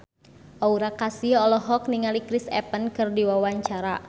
Aura Kasih olohok ningali Chris Evans keur diwawancara